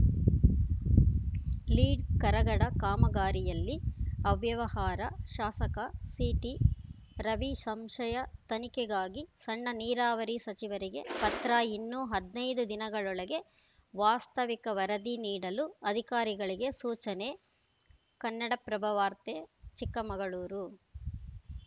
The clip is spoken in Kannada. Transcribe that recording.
ಲೀಡ್‌ ಕರಗಡ ಕಾಮಗಾರಿಯಲ್ಲಿ ಅವ್ಯವಹಾರ ಶಾಸಕ ಸಿಟಿ ರವಿ ಸಂಶಯ ತನಿಖೆಗಾಗಿ ಸಣ್ಣ ನೀರಾವರಿ ಸಚಿವರಿಗೆ ಪತ್ರ ಇನ್ನೂ ಹದಿನೈದು ದಿನಗಳೊಳಗೆ ವಾಸ್ತವಿಕ ವರದಿ ನೀಡಲು ಅಧಿಕಾರಿಗಳಿಗೆ ಸೂಚನೆ ಕನ್ನಡಪ್ರಭವಾರ್ತೆ ಚಿಕ್ಕಮಗಳೂರು